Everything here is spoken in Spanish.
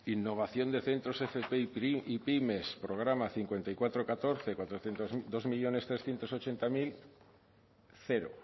innovación de centros fp y pymes programa cinco mil cuatrocientos catorce bi milioi hirurehun eta laurogei mila cero